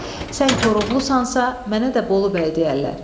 Sən Koroğlusansa, mənə də Bolu bəy deyərlər."